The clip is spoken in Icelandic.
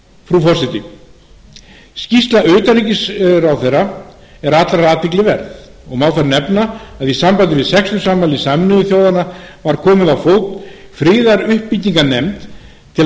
frú forseti skýrsla utanríkisráðherra er allrar athygli verð má þar nefna að í sambandi við sextugsafmæli sameinuðu þjóðanna hafi verið komið á fót friðaruppbyggingarnefnd til að